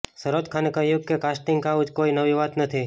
સરોજ ખાને કહ્યું કે કાસ્ટિંગ કાઉચ કોઇ નવી વાત નથી